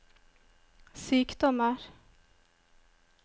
sykdommer